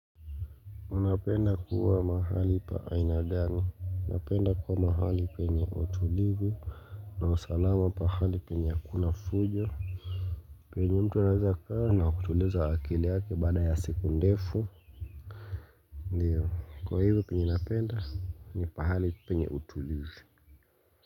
Unapenda kuwa mahali pa aina gani. Unapenda kuwa mahali penye utulivu. Na usalama pahali penye hakuna fujo. Penye mtu anaeza kaa na kutuliza akili yake baada ya siku ndefu. Ndiyo. Kwa hivyo penye napenda ni pahali penye utulivu.